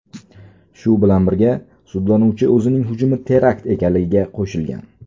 Shu bilan birga, sudlanuvchi o‘zining hujumi terakt ekanligiga qo‘shilgan.